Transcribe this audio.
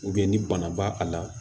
ni bana b'a a la